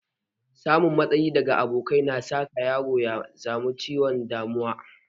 Samun matsi daga abokai na saka yaro ya samu ciwon damuwa